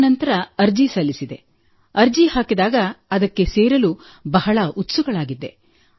ಆ ನಂತರ ಅರ್ಜಿ ಸಲ್ಲಿಸಿದೆ ಅರ್ಜಿ ಹಾಕಿದಾಗ ಅದಕ್ಕೆ ಸೇರಲು ಬಹಳ ಉತ್ಸುಕಳಾಗಿದ್ದೆ